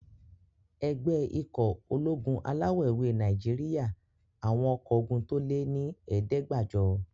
Ẹgbẹ́ ikọ̀ ológun alawọ̀-ewé Nàìjíríyà àwọn ọkọ́ ogun tó lé ní ẹ̀ẹ́dẹ́gbàjọ